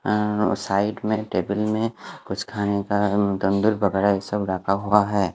अ side में table में कुछ खाने का वगेरा सब रखा हुआ है।